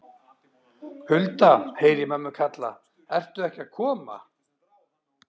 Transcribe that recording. Hulda, heyri ég mömmu kalla, ertu ekki að koma?